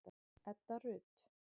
Edda Rut.